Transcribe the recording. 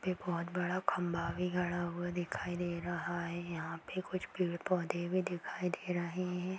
ये बहुत बड़ा खंभा भी गड़ा हुआ दिखाई दे रहा है। यहाँ पे कुछ पेड़ पौधे भी दिखाई दे रहे हैं।